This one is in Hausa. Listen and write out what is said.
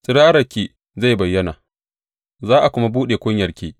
Tsirararki zai bayyana za a kuma buɗe kunyarki.